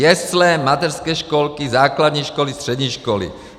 Jesle, mateřské školky, základní školy, střední školy.